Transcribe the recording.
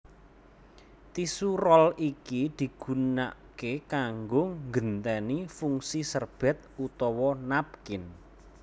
Tisu roll iki digunaké kanggo nggenténi fungsi serbét utawa napkin